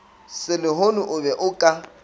selehono o be o ka